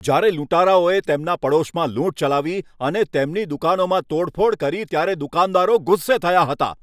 જ્યારે લૂંટારાઓએ તેમના પડોશમાં લૂંટ મચાવી અને તેમની દુકાનોમાં તોડફોડ કરી ત્યારે દુકાનદારો ગુસ્સે થયા હતા.